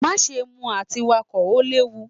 Maṣe mu ati Wakọ! o lewu.